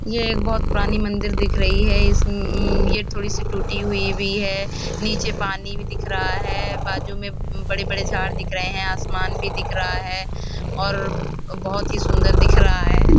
यह एक बहुत पुराणी मंदिर दिख रही है इसमें अम ये थोड़ी सी टूटी हुई भी है नीचे पानी भी दिख रहा है बाजु में बड़े बड़े झाड दिख रहे हैं आसमान भी दिख रहा है और बहुत ही सुंदर दिख रहा है।